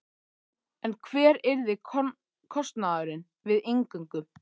En hver yrði kostnaðurinn við inngöngu?